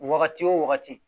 Wagati wo wagati